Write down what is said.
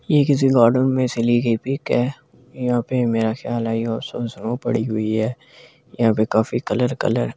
यह किसी गार्डन में से लई गई पिक है यहां पे मेरा ख्याल है और स्नो पड़ी हुई है यहां पर काफी कलर कलर ।